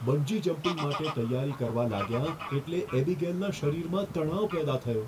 Bungee jumping માટે તૈયારી કરવા લાગ્યાં એટલે એબીગેલના શરીરમાં તણાવ પેદા થયો.